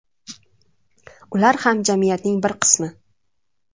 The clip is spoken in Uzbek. Ular ham jamiyatning bir qismi.